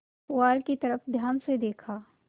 पुआल की तरफ ध्यान से देखा